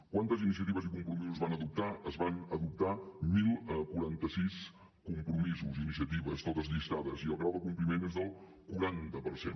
quantes iniciatives i compromisos es van adoptar es van adoptar deu quaranta sis compromisos i iniciatives tots llistats i el grau de compliment és del quaranta per cent